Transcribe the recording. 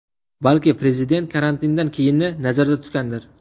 Balki prezident karantindan keyinni nazarda tutgandir?